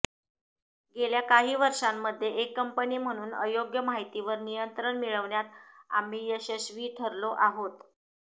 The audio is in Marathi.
गेल्या काही वर्षांमध्ये एक कंपनी म्हणून अयोग्य माहितीवर नियंत्रण मिळवण्यात आम्ही यशस्वी ठरलो आहोत